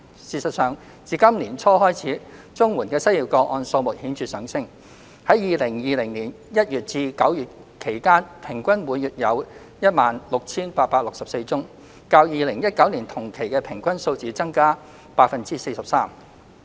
事實上，自今年年初開始，綜援的失業個案數目顯著上升，在2020年1月至9月期間平均每月有 16,864 宗，較2019年同期的平均數字增加 43%。